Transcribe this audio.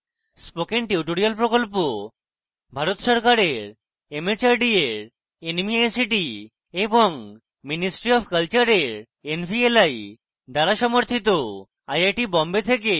spoken tutorial project ভারত সরকারের mhrd এর nmeict এবং ministry অফ কলচারের nvli দ্বারা সমর্থিত